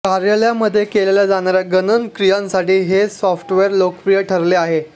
कार्यालयांमध्ये केल्या जाणाऱ्या गणन क्रियांसाठी हे सॉफ्टवेर लोकप्रिय ठरले आहे